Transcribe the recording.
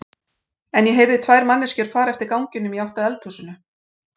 En ég heyrði tvær manneskjur fara eftir ganginum í átt að eldhúsinu.